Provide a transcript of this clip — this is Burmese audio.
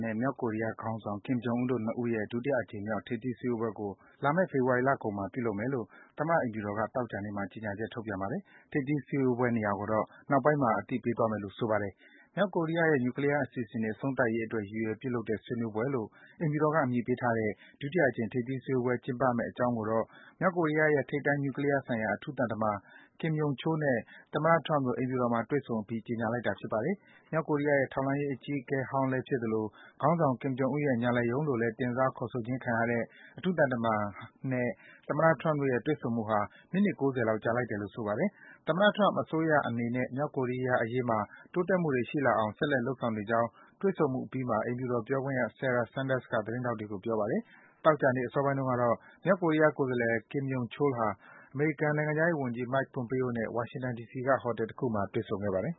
နဲ့ မြောက်ကိုရီးယားခေါင်းဆောင် Kim Jong Un တို့ ၂ ဦးတို့ရဲ့ ဒုတိယ အကြိမ်မြောက် ထိပ်သီး ဆွေးနွေးပွဲကို လာမယ့် ဖေဖော်ဝါရီလကုန်ပိုင်းမှာ ပြုလုပ်ဖြစ်မယ်လို့ သမ္မတ အိမ်ဖြူတော်က သောကြာနေ့မှာ ကြေညာချက် ထုတ်ပြန်ပါတယ်။ ထိပ်သီး စည်းဝေးပွဲနေရာကိုတော့ နောက်ပိုင်းမှာ အသိပေးမယ်လို့ ဆိုပါတယ်။ မြောက်ကိုရီးယားရဲ့ နြူကလီယား အစီအစဉ်တွေ အဆုံးသတ်ရေးအတွက် ရည်ရွယ် ပြုလုပ်တဲ့ ဆွေးနွေးပွဲလို့ အိမ်ဖြူတော်က အမည်ပေးထားတဲ့ ဒုတိယအကြိမ် ထိပ်သီးစည်းဝေးပွဲ ကျင်းပမယ့်အကြောင်းကိုတော့ မြောက်ကိုရီးယားရဲ့ ထိပ်တန်း နြူကလီးယားဆိုင်ရာ အထူးသံတမန် Kim Yong Chol နဲ့ သမ္မတ Trump တို့ အိမ်ဖြူတော်မှာ တွေ့ဆုံအပြီး ကြေညာလိုက်တာ ဖြစ်ပါတယ်။ မြောက်ကိုရီးယားရဲ့ ထောက်လှမ်းရေးအကြီးအကဲဟောင်းလည်းဖြစ်သလို၊ ခေါင်းဆောင် Kim Jong Un ရဲ့ ညာလက်ရုံးလို့လည်း တင်စား ခေါ်ဆိုခြင်းခံရတဲ့ အထူးသံတမန်နဲ့ သမ္မတ Trump တို့ရဲ့ တွေ့ဆုံမှုဟာ မိနစ် ၉၀ လောက် ကြာလိုက်တယ်လို့ ဆိုပါတယ်။ သမ္မတ Trump အစိုးရအနေနဲ့ မြောက်ကိုရီးယားအရေးမှာ တိုးတက်မှုတွေရှိလာအောင် ဆက်လက် လုပ်ဆောင်နေကြောင်း တွေ့ဆုံမှုအပြီးမှာ အိမ်ဖြူတော် ပြောခွင့်ရ Sarah Sanders က သတင်းထောက်တွေကို ပြောပါတယ်။ သောကြာနေ့ အစောပိုင်းတုန်းကတော့ မြောက်ကိုရီးယား ကိုယ်စားလှယ် Kim Yong Chol ဟာ အမေရိကန် နိုင်ငံခြားရေးဝန်ကြီး Mike Pompeo နဲ့ ဝါရှင်တန် ဒီစီက ဟိုတယ်တခုမှာ တွေ့ဆုံခဲ့ပါတယ်